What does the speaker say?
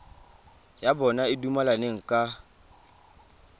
ya bona e dumelaneng ka